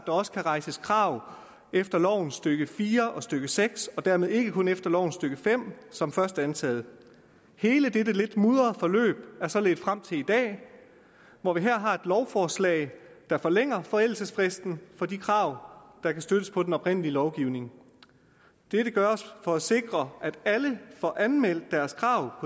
også kan rejses krav efter lovens stykke fire og stykke seks og dermed ikke kun efter lovens stykke fem som først antaget hele dette lidt mudrede forløb har så ledt frem til i dag hvor vi her har et lovforslag der forlænger forældelsesfristen for de krav der kan støttes på den oprindelige lovgivning dette gøres for at sikre at alle får anmeldt deres krav